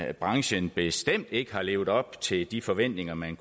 at branchen bestemt ikke har levet op til de forventninger man